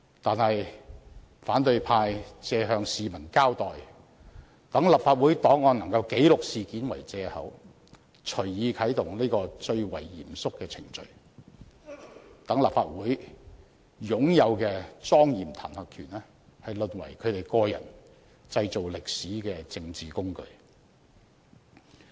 可是，反對派以向市民交代、讓立法會檔案能記錄此事件為借口，隨意啟動這個最為嚴肅的程序，令立法會擁有的莊嚴彈劾權淪為他們個人製造歷史的政治工具。